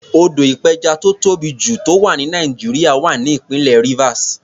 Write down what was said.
Odò ìpẹjà tó tóbì jù tó wà ní Nàìjíríà wà ní ìpínlẹ̀ Rivers.